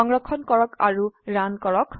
সংৰক্ষণ কৰক আৰু ৰান কৰক